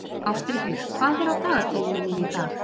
Ástríkur, hvað er á dagatalinu mínu í dag?